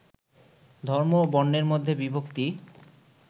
ধর্ম ও বর্ণের মধ্যে বিভক্তি